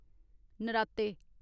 नराते